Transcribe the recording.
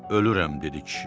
Ölürəm, dedi kişi.